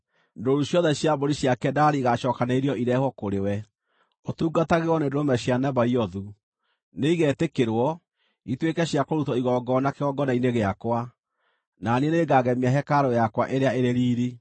Ndũũru ciothe cia mbũri cia Kedari igaacookanĩrĩrio irehwo kũrĩ we, ũtungatagĩrwo nĩ ndũrũme cia Nebaiothu; nĩigetĩkĩrwo, ituĩke cia kũrutwo igongona kĩgongona-inĩ gĩakwa, na niĩ nĩngagemia hekarũ yakwa ĩrĩa ĩrĩ riiri.